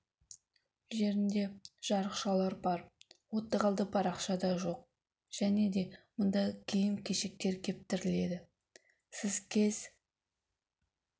жерінде жарықшақтар бар оттық алды парақша да жоқ және де мұнда киім-кешектер кептіріледі сіз кез